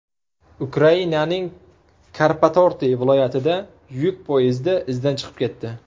Ukrainaning Karpatorti viloyatida yuk poyezdi izdan chiqib ketdi.